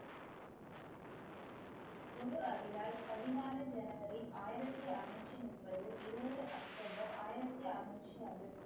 குரு ஹரிராய் பதினாறு ஜனவரி ஆயிரத்தி அறநூற்று முப்பது இருபது அக்டோபர் ஆயிரத்தி அறநூற்று அறுபத்தி,